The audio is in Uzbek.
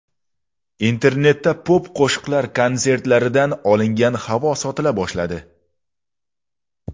Internetda pop-qo‘shiqchilar konsertlaridan olingan havo sotila boshladi.